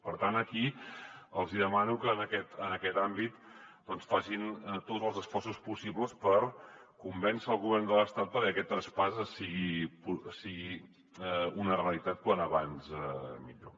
per tant aquí els hi demano que en aquest àmbit facin tots els esforços possibles per convèncer el govern de l’estat perquè aquest traspàs sigui una realitat com més aviat millor